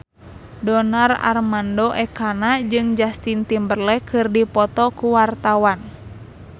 Donar Armando Ekana jeung Justin Timberlake keur dipoto ku wartawan